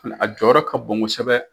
a jɔyɔrɔ ka bon kosɛbɛ.